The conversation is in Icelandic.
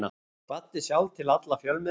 Kvaddi sjálf til alla fjölmiðla.